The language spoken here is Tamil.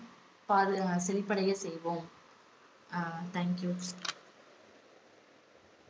பாது~ செழிப்படைய செய்வோம் அஹ் thank you